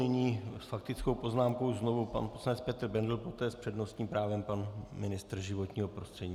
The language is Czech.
Nyní s faktickou poznámkou znovu pan poslanec Petr Bendl, poté s přednostním právem pan ministr životního prostředí.